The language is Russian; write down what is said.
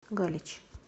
галич